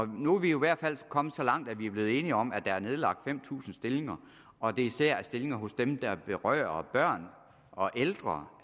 nu er vi jo i hvert fald kommet så langt at vi er blevet enige om at der er nedlagt fem tusind stillinger og at det især er stillinger der vedrører børn og ældre